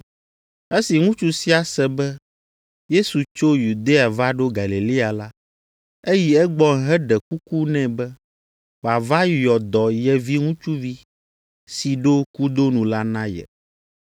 Esi ŋutsu sia se be Yesu tso Yudea va ɖo Galilea la, eyi egbɔ heɖe kuku nɛ be wòava yɔ dɔ ye viŋutsuvi si ɖo kudo nu la na ye.